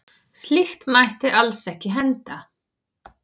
Slíkt mætti alls ekki henda.